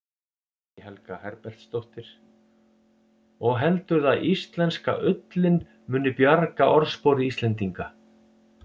Guðný Helga Herbertsdóttir: Og heldurðu að íslenska ullin muni bjarga orðspori Íslendinga?